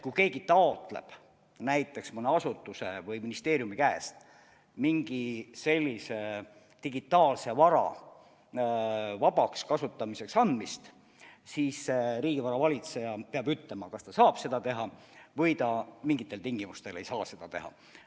Kui keegi taotleb näiteks mõne asutuse või ministeeriumi käest mingi sellise digitaalse vara vabaks kasutamiseks andmist, siis riigivara valitseja peab ütlema, kas ta saab seda teha või ta mingitel tingimustel ei saa seda teha.